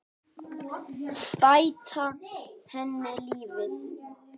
Bæta henni lífið.